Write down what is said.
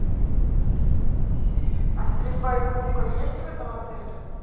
а стрельба из лука есть в этом отеле